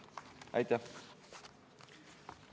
Aitäh!